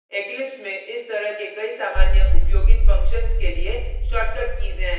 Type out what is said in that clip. eclipse में इस तरह के कई सामान्य उपयोगित functions के लिए shortcut कीज़ हैं